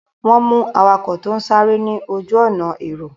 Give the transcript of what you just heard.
Wọ́n mú awakọ̀ tó sáré ní ojú-ọ̀nà èrò.